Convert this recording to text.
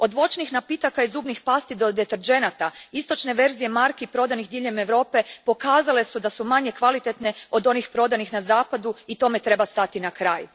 Od voćnih napitaka i zubnih pasti do deterdženata, istočne verzije marki prodanih diljem Europe pokazale su da su manje kvalitetne od onih prodanih na zapadu i tome treba stati na kraj.